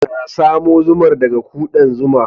Ka samo zumar daga ƙudan zuma.